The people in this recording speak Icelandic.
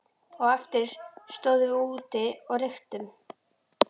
Á eftir stóðum við úti og reyktum.